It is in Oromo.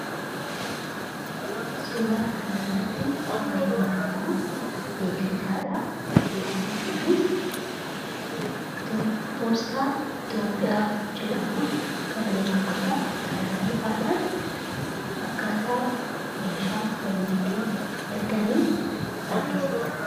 Suuraa kanarratti wan nuyi arginu beeksiisadha. Beeksisi kunis poostaa Ithiyoopiyaa jedhaamun kan beekamudha. Karaa salphaadhaan akkaataa meeshaa walitti itti ergan argisiisa.